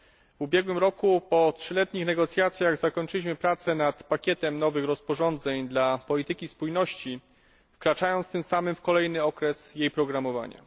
W ubiegłym roku, po trzyletnich negocjacjach zakończyliśmy prace na pakietem nowych rozporządzeń dla polityki spójności, wkraczając tym samy w kolejny okres jej programowania.